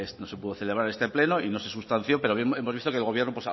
no se pudo celebrar este pleno y no se sustanció pero hemos visto que el gobierno